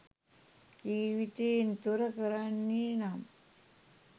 ජීවිතයෙන් තොර කරන්නේ නම්